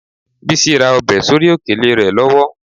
Bísí ra ọbẹ̀ sórí òkèlè rẹ lọ́wọ́